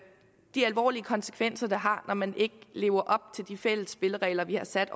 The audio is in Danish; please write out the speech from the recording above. de alvorlige konsekvenser det har når man ikke lever op til de fælles spilleregler vi har sat